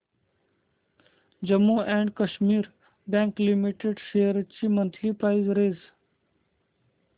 Jammu and Kashmir bank limited shares ची monthly price range